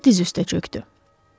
Panelo diz üstə çöxdü.